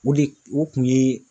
O de o kun ye